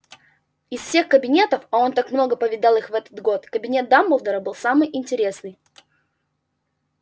из всех кабинетов а он так много повидал их в этот год кабинет дамблдора был самый интересный